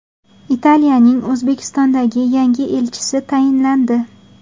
Italiyaning O‘zbekistondagi yangi elchisi tayinlandi.